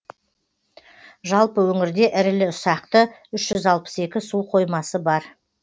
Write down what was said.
жалпы өңірде ірілі ұсақты үш жүз алпыс екі су қоймасы бар